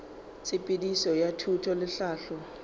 tshepedišo ya thuto le tlhahlo